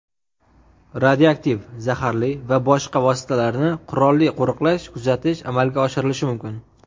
radioaktiv (zaharli) va boshqa vositalarni qurolli qo‘riqlash-kuzatish amalga oshirilishi mumkin.